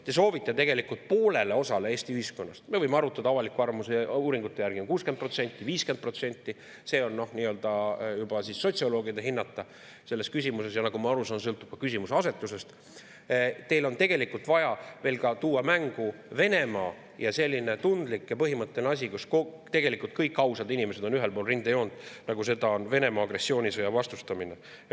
Te soovite tegelikult Eesti ühiskonnast poole jaoks – me võime arutada, aga avaliku arvamuse uuringute järgi on 60% või 50%, see on juba sotsioloogide hinnata, ja nagu ma aru saan, sõltub ka küsimuse asetusest – tuua mängu ka Venemaa ja sellise tundliku ja põhimõttelise asja, milles tegelikult kõik ausad inimesed on ühel pool rindejoont, nagu seda on Venemaa agressioonisõja vastustamine.